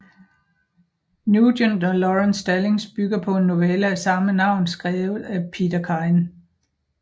Nugent og Laurence Stallings bygger på en novelle af samme navn skrevet af Peter Kyne